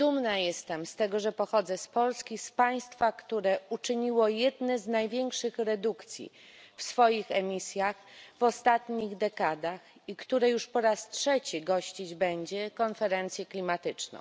Dumna jestem z tego, że pochodzę z Polski, z państwa, które uczyniło jedne z największych redukcji w swoich emisjach w ostatnich dekadach i które już po raz trzeci gościć będzie konferencję klimatyczną.